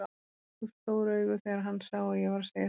Rak upp stór augu þegar hann sá að ég var að segja satt.